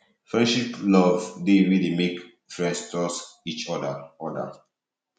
friendship love de wey de make friends trust each other other